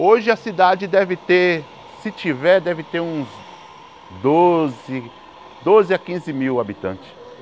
Hoje a cidade deve ter, se tiver, deve ter uns doze doze a quinze mil habitantes.